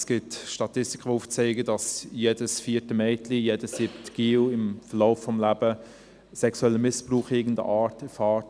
Es gibt Statistiken, die aufzeigen, dass jedes vierte Mädchen, jeder siebte Junge sexuellen Missbrauch in irgendeiner Form erfährt.